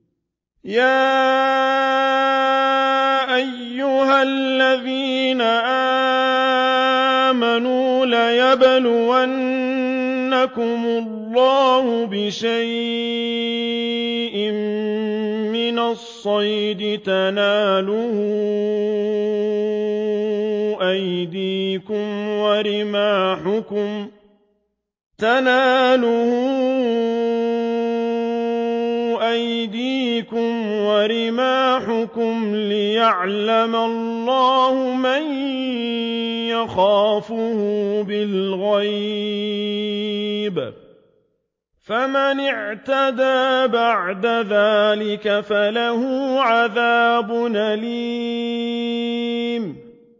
يَا أَيُّهَا الَّذِينَ آمَنُوا لَيَبْلُوَنَّكُمُ اللَّهُ بِشَيْءٍ مِّنَ الصَّيْدِ تَنَالُهُ أَيْدِيكُمْ وَرِمَاحُكُمْ لِيَعْلَمَ اللَّهُ مَن يَخَافُهُ بِالْغَيْبِ ۚ فَمَنِ اعْتَدَىٰ بَعْدَ ذَٰلِكَ فَلَهُ عَذَابٌ أَلِيمٌ